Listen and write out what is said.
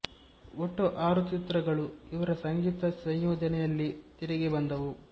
ಒಟ್ಟು ಆರು ಚಿತ್ರಗಳು ಇವರ ಸಂಗೀತ ಸಂಯೋಜನೆಯಲ್ಲಿ ತೆರೆಗೆ ಬಂದವು